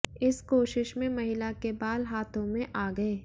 इस कोशिश में महिला के बाल हाथों में आ गए